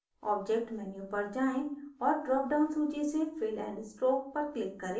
object menu पर जाएँ और drop down सूची से fill and stroke पर click करें